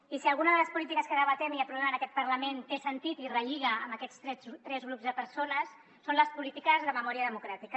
i si alguna de les polítiques que debatem i aprovem en aquest parlament té sentit i relliga amb aquests tres grups de persones són les polítiques de memòria democràtica